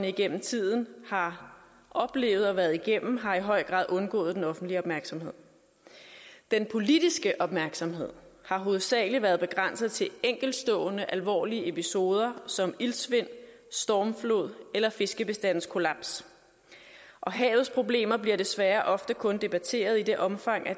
igennem tiden har oplevet og været igennem har i høj grad undgået den offentlige opmærksomhed den politiske opmærksomhed har hovedsagelig været begrænset til enkeltstående alvorlige episoder som iltsvind stormflod eller fiskebestandskollaps og havets problemer bliver desværre ofte kun debatteret i det omfang at